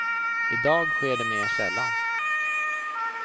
I dag sker det mera sällan.